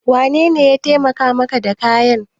Wanene ya taimaka maka da kayan?